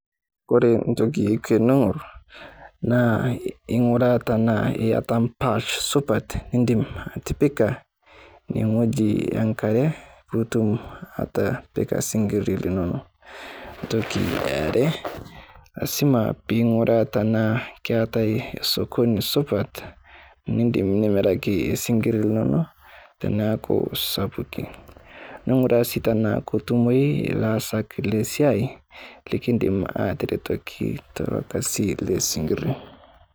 Ore entoki teniurr ing'urraa tenaa iyata embash supat niidim atipika ewueji enk'are pitum atipika isinkirr linonok, ee entoki eare lasima peing'uraa tenaa keetae esokoni supat niidim nimiraki esinkirr linonok teneaku sapuki ning'uraa sii tenaa ketumoyu ilaasak lesiai likindim aateretoki Ilo Kasi lesinkirri.